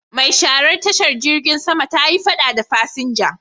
Mai sharar tashar jirgin sama ta yi fada da fasinja.